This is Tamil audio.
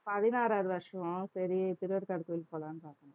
பதினாறாவது வருஷம் சரி திருவேற்காடு கோயிலுக்கு போலாம்ன்னு பார்த்தேன்